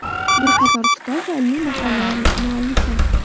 Bir qator kitob va ilmiy maqolalar muallifi.